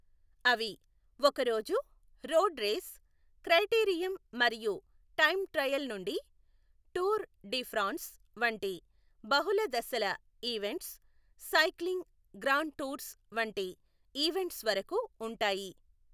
అవి ఒకరోజు road race, criterium మరియు టైమ్ ట్రయల్ నుండి టూర్ డి ఫ్రాన్స్ వంటి బహుళ దశల ఈవెంట్స్, సైక్లింగ్ గ్రాండ్ టూర్స్ వంటి ఈవెంట్స్ వరకు ఉంటాయి.